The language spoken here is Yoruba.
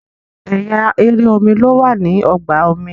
ẹyà èrè omí ló wà ní ọgbà omi